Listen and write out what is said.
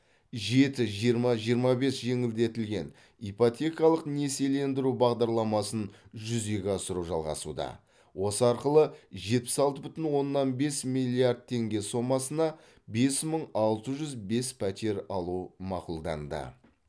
жеті жиырма жиырма бес жеңілдетілген ипотекалық несиелендіру бағдарламасын жүзеге асыру жалғасуда осы арқылы жетпіс алты бүтін оннан бес миллиард тенге сомасына бес мың алты жүз бес пәтер алу мақұлданды